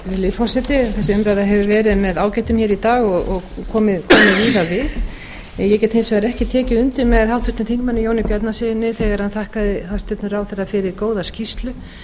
virðulegi forseti þessi umræða hefur verið með ágætum hér í dag og komið víða við ég get hins vegar ekki tekið undir með háttvirtum þingmanni jóni bjarnasyni þegar hann þakkaði hæstvirtur ráðherra fyrir góða skýrslu